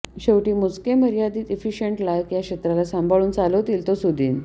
शेवटी मोजके मर्यादीत एफ़िशीयंट लायक या क्षेत्राला सांभाळुन चालवतील तो सुदीन